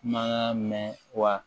Ma mɛn wa